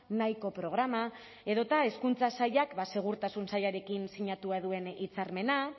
nahiko programa edota hezkuntza sailak segurtasun sailarekin sinatua duen hitzarmena